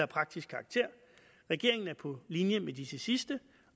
praktisk karakter regeringen er på linje med disse sidstnævnte